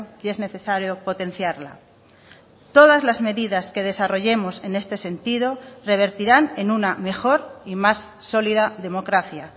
y es necesario potenciarla todas las medidas que desarrollemos en este sentido revertirán en una mejor y más sólida democracia